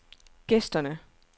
gæsterne